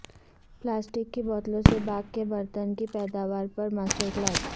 plastic کی بوتلوں سے باغ کے برتن کی پیداوار پر ماسٹر کلاس